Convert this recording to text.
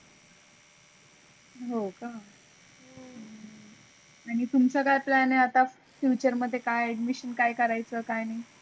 हो का आणी तुमचा काय plan आहे आता future मधे काय ambition काय करायच काय नाही?